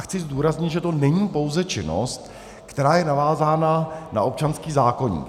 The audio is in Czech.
A chci zdůraznit, že to není pouze činnost, která je navázána na občanský zákoník.